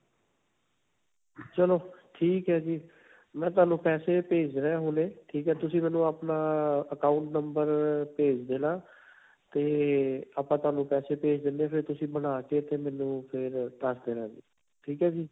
ਚਲੋ, ਠੀਕ ਹੈ ਜੀ. ਮੈਂ ਤੁਹਾਨੂੰ ਪੈਸੇ ਭੇਜ ਰਿਹਾ ਹੁਣੇ ਠੀਕ ਹੈ. ਤੁਸੀਂ ਮੈਨੂੰ ਆਪਣਾ ਅਅ account number ਭੇਜ ਦੇਣਾ ਤੇ ਆਪਾਂ ਤੁਹਾਨੂੰ ਪੈਸੇ ਭੇਜ ਦਿੰਦੇ, ਫਿਰ ਤੁਸੀਂ ਬਣਾਕੇ ਤੇ ਮੈਨੂੰ ਫਿਰ ਦਸ ਦੇਣਾ ਠੀਕ ਹੈ ਜੀ.